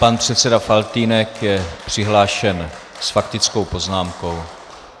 Pan předseda Faltýnek je přihlášen s faktickou poznámkou.